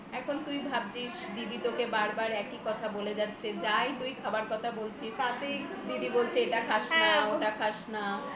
এখন তুই ভাবছিস দিদি তোকে বারবার একই কথা বলে যাচ্ছে যাই তুই খাবার কথা বলছিস দিদি বলছে এটা খাস না ওটা খাস না